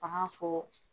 A b'a fɔ